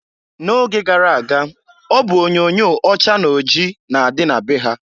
Na oge gara aga ọ bụ onyoonyoo ọcha na oji na-adị na be ha.